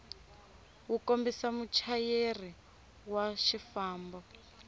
wu kombisa muchayeri wa xifambo